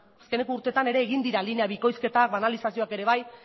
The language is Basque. azkeneko urtetan ere egin dira linea bikoizketak banalizazioak ere bai